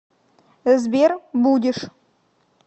сбер будешь